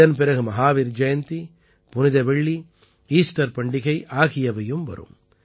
இதன் பிறகு மஹாவீர் ஜயந்தி புனித வெள்ளி ஈஸ்டர் பண்டிகை ஆகியவையும் வரும்